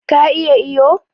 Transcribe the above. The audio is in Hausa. Ka iya iyo?